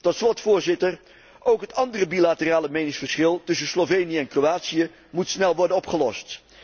Tot slot, Voorzitter, ook het andere bilaterale meningsverschil tussen Slovenië en Kroatië moet snel worden opgelost.